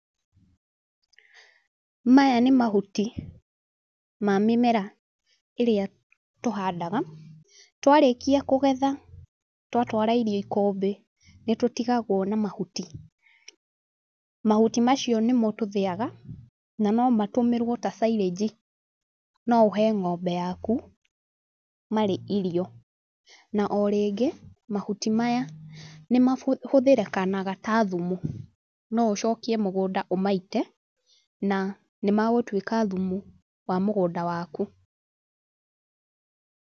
Maya nĩ mahuti, ma mĩmera, ĩrĩa tũhandaga. Twarĩkia kũgetha, twatara irio ikũmbĩ, nĩ tũtigagwo na mahuti. Mahuti macio nĩmo tũthĩaga, na no matũmĩrwo ta silage. No ũhe ng'ombe yaku, marĩ irio. Na o rĩngĩ, mahuti maya, nĩ mahũthĩrĩkanaga ta thumu. No ũcokie mũgũnda ũmaite, na nĩ magũtuĩka thumu, wa mũgũnda waku.